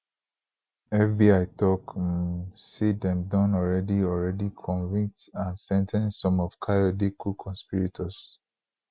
fbi tok um say dem don already already convict and sen ten ce some of kayode coconspirators